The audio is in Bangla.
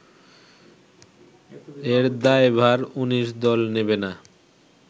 এর দায়ভার ১৯ দল নেবে না